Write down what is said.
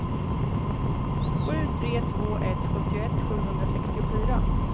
sju tre två ett sjuttioett sjuhundrasextiofyra